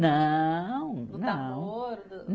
Não, não. Do namoro, do